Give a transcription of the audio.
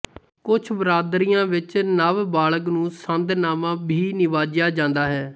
ਕੁਛ ਬਰਾਦਰੀਆਂ ਵਿੱਚ ਨਵ ਬਾਲਗ਼ ਨੂੰ ਸੰਦ ਨਾਮਾ ਭੀ ਨਿਵਾਜਿਆ ਜਾਂਦਾ ਹੈ